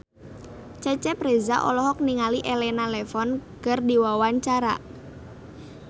Cecep Reza olohok ningali Elena Levon keur diwawancara